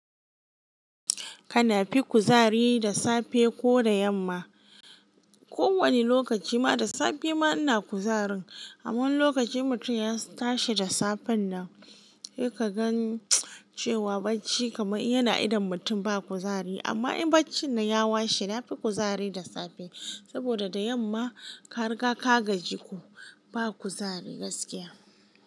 Kanafi kuzari da safe ko da yamma? Ko wani lokaci ma da safe ma ina kuzarin. Amma wani lokacin in mutum ya tashi da safen nan, sai ka gan cewa barci kamar yana idon mutum ba kuzari. Amma in barcin nan ya washe, na fi kuzari da safe. Saboda da yamma, ka riga ka gaji ko, ba kuzari gaskiya.